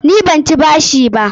Ni ban ci bashi ba.